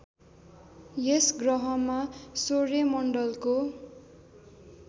यस गह्रमा सौर्यमण्डलको